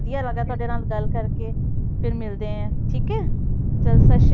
ਵਧੀਆ ਲੱਗਾ ਤੁਹਾਡੇ ਨਾਲ ਗੱਲ ਕਰਕੇ, ਫਿਰ ਮਿਲਦੇ ਹਾਂ ਠੀਕ ਹੈ ਚੱਲ ਸਤਿ ਸ੍ਰੀ